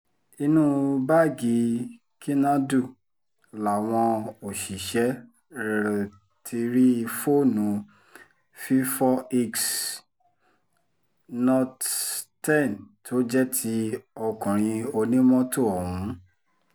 inú báàgì kinadu làwọn òṣìṣẹ́ rrl ti rí fóònù fífòix not ten tó jẹ́ ti ọkùnrin onímọ́tò ọ̀hún